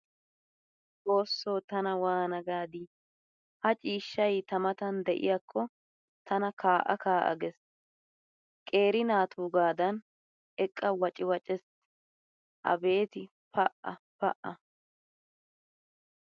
Xoosso tana waana gaadi! Ha ciishshay ta mattan de'iyakko tana kaa'a kaa'a gees qeeri naatuugaadan eqqa wacciwaccees! Abeeti pa pa!